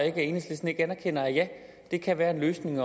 at enhedslisten ikke anerkender at det kan være en løsning